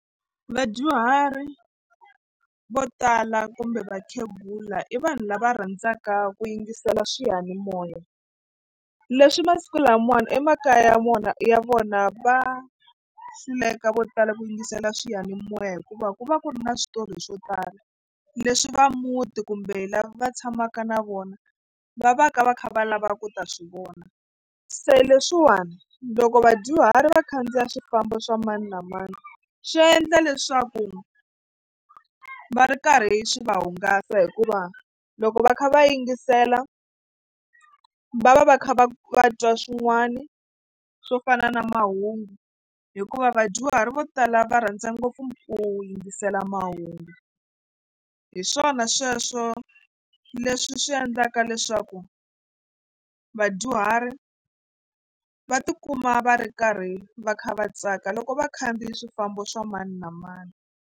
Vadyuhari vo tala kumbe vakhegula i vanhu lava rhandzaka ku yingisela swiyanimoya leswi masiku lamawani emakaya ya vona ya vona va hluleka vo tala ku yingisela swiyanimoya hikuva ku va ku ri na switori swo tala leswi va muti kumbe lava va tshamaka na vona va va ka va kha va lava ku ta swi vona se leswiwani loko vadyuhari va khandziya swifambo swa mani na mani swi endla leswaku va ri karhi swi va hungasa hikuva loko va kha va yingisela va va va kha va va twa swin'wana swo fana na mahungu hikuva vadyuhari vo tala va rhandza ngopfu ku yingisela mahungu hi swona sweswo leswi swi endlaka leswaku vadyuhari va tikuma va ri karhi va kha va tsaka loko vakhandziyi swifambo swa mani na mani.